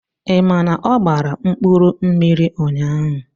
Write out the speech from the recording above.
Ị ma na ọ gbara mkpụrụmmiri ụnyahụ?